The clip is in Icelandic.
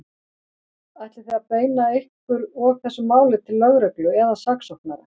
Ætlið þið að beina ykkar og þessu máli til lögreglu eða saksóknara?